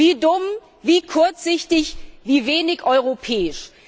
Wie dumm, wie kurzsichtig, wie wenig europäisch!